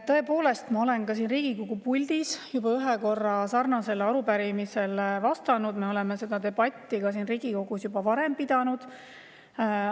Tõepoolest, ma olen siin Riigikogu puldis juba ühe korra sarnasele arupärimisele vastanud, me oleme seda debatti siin Riigikogus juba varem pidanud.